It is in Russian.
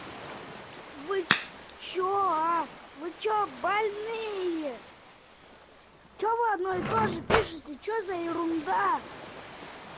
вы что аа вы что больные что вы одно и тоже пишете что за ерунда